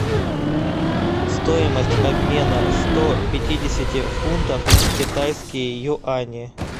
стоимость обмена сто пятидесяти фунтов в китайские юани